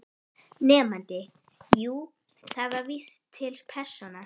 Nemandi: Jú, það vísar til persóna